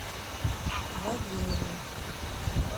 вавиловым